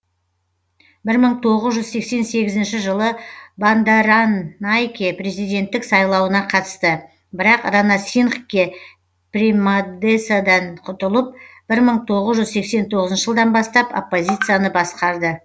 бір мың тоғыз жүз сексен сегізінші жылы бандаранайке президенттік сайлауына қатысты бірақ ранасингхе премадесаден ұтылып бір мың тоғыз жүз сексен тоғызыншы жылдан бастап оппозицияны басқарды